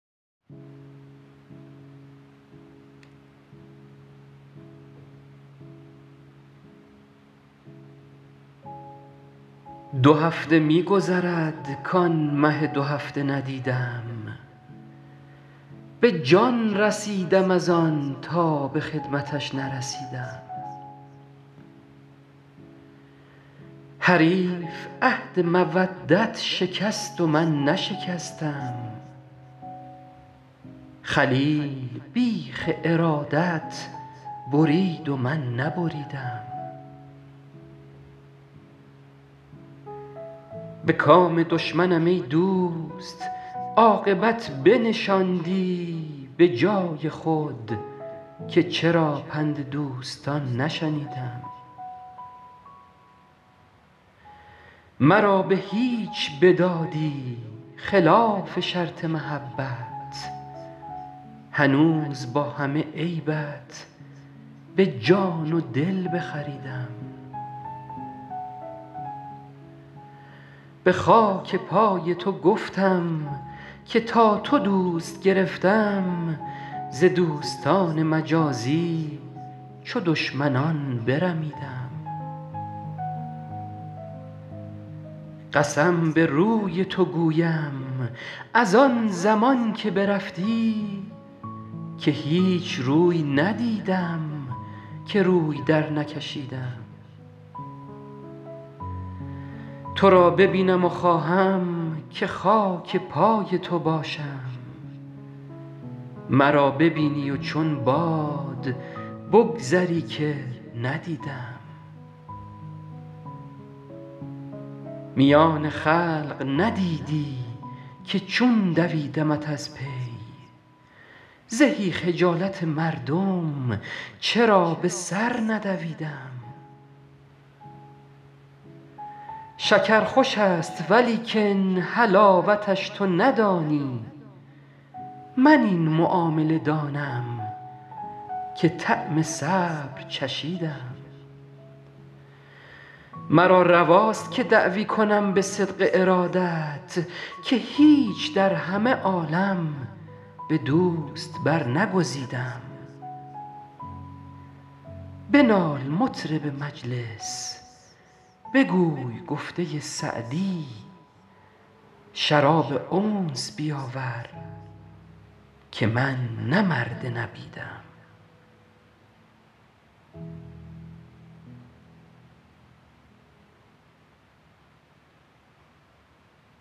دو هفته می گذرد کآن مه دوهفته ندیدم به جان رسیدم از آن تا به خدمتش نرسیدم حریف عهد مودت شکست و من نشکستم خلیل بیخ ارادت برید و من نبریدم به کام دشمنم ای دوست عاقبت بنشاندی به جای خود که چرا پند دوستان نشنیدم مرا به هیچ بدادی خلاف شرط محبت هنوز با همه عیبت به جان و دل بخریدم به خاک پای تو گفتم که تا تو دوست گرفتم ز دوستان مجازی چو دشمنان برمیدم قسم به روی تو گویم از آن زمان که برفتی که هیچ روی ندیدم که روی درنکشیدم تو را ببینم و خواهم که خاک پای تو باشم مرا ببینی و چون باد بگذری که ندیدم میان خلق ندیدی که چون دویدمت از پی زهی خجالت مردم چرا به سر ندویدم شکر خوش است ولیکن حلاوتش تو ندانی من این معامله دانم که طعم صبر چشیدم مرا رواست که دعوی کنم به صدق ارادت که هیچ در همه عالم به دوست برنگزیدم بنال مطرب مجلس بگوی گفته سعدی شراب انس بیاور که من نه مرد نبیدم